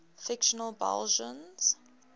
fictional belgians